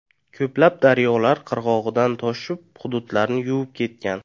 Ko‘plab daryolar qirg‘oqdan toshib hududlarni yuvib ketgan.